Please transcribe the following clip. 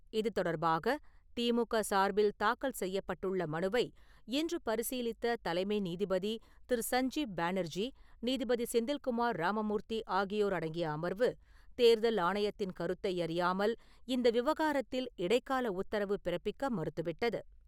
இது தொடர்பாக திமுக சார்பில் தாக்கல் செய்யப்பட்டுள்ள மனுவை இன்று பரிசீலித்த தலைமை நீதிபதி திரு சஞ்ஜீப் பானர்ஜி, நீதிபதி செந்தில்குமார் ராமமூர்த்தி ஆகியோர் அடங்கிய அமர்வு, தேர்தல் ஆணையத்தின் கருத்தை அறியாமல், இந்த விவகாரத்தில் இடைக்கால உத்தரவு பிறப்பிக்க மறுத்துவிட்டது.